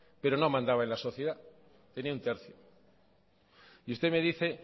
pero no mandaba en la sociedad tenía un tercio y usted me dice